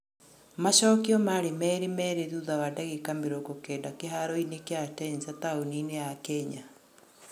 Macokio maarĩ merĩ merĩ thutha wa ndagĩka mĩrongo kenda kĩharoinĩ kĩa Atenza taũni-inĩ ya Kenya